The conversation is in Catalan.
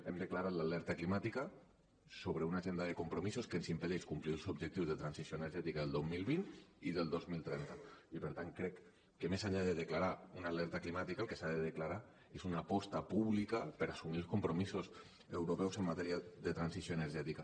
hem declarat l’alerta climàtica sobre una agenda de compromisos que ens impedeix complir els objectius de transició energètica del dos mil vint i el dos mil trenta i per tant crec que més enllà de declarar una alerta climàtica el que s’ha de declarar és una aposta pública per assumir els compromisos europeus en matèria de transició energètica